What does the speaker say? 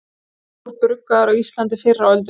Var bjór bruggaður á Íslandi fyrr á öldum?